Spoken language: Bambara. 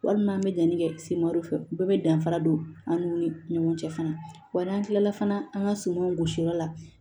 Walima an bɛ danni kɛ semɔru fɛ u bɛɛ bɛ danfara don an n'u ni ɲɔgɔn cɛ fana wa n'an tilala fana an ka sumanw gosi yɔrɔ la